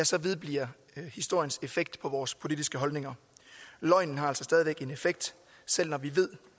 så vedbliver historiens effekt på vores politiske holdninger løgnen har altså stadig en effekt selv når vi ved